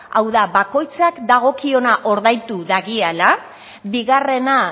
hau da bakoitzak dagokiona ordaindu duela bigarrena